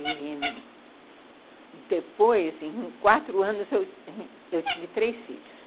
E depois, em quatro anos, eu tive três filhos.